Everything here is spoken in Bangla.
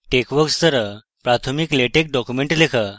texworks ব্যবহার করে প্রাথমিক latex documents লেখা